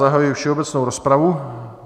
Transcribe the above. Zahajuji všeobecnou rozpravu.